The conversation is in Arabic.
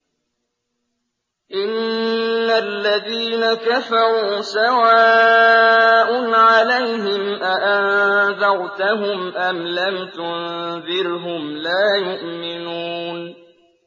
إِنَّ الَّذِينَ كَفَرُوا سَوَاءٌ عَلَيْهِمْ أَأَنذَرْتَهُمْ أَمْ لَمْ تُنذِرْهُمْ لَا يُؤْمِنُونَ